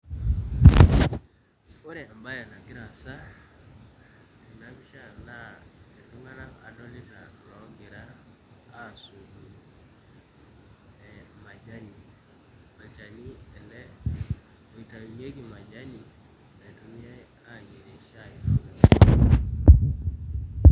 opre embaye nagira aasa tenapisha naa iltung'anak adolita loogira aasotu ee majani olchani ele oitainyieki majani naitumiay ayierie shai.